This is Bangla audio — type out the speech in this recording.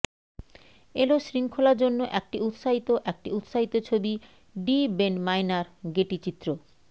এল শৃঙ্খলা জন্য একটি উত্সাহিত একটি উত্সাহ ছবি ডি বেন মাইনার গেটি চিত্র